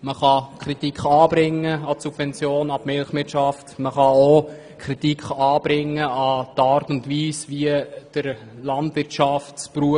Man kann Kritik an den Subventionen für die Milchwirtschaft anbringen, und man kann auch die Art und Weise kritisieren, wie der Beruf des Landwirts gelehrt wird.